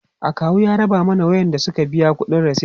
akawu ya raba ma waƴanda Suka biya ƙuɗi resit